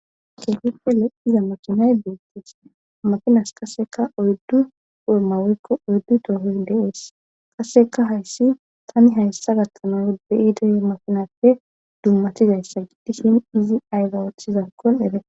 keehippe iza makinay beestis makinas kasseka oyddu umawekko oyddu toohoy de7ees qaseka hayssi tani hayssa gattana beyide makinappe dummatizayssa idishin izi aygawothizaakkon ede